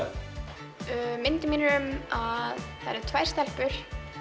myndin mín er um að það eru tvær stelpur